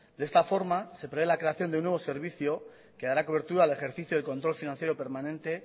de esta forma se prevé la creación de un nuevo servicio que dará cobertura al ejercicio del control financiero permanente